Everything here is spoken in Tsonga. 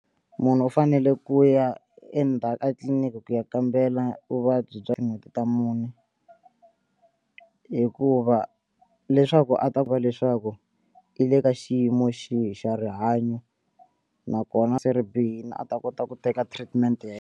Munhu u fanele ku ya etliliniki ku ya kambela vuvabyi bya tin'hweti ta mune hikuva leswaku a ta ku va leswaku i le ka xiyimo xihi xa rihanyo nakona se ri bihile a ta kota ku teka treatment ya .